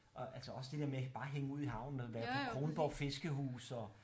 Og altså også det dér med bare at hænge ud i havnen og være på Kronborg fiskehus og